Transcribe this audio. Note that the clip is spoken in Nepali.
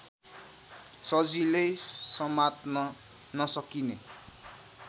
सजिलै समात्न नसकिने